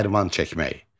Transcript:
Dərman çəkmək.